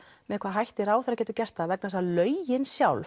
með hvaða hætti ráðherra getur gert það vegna þess að lögin sjálf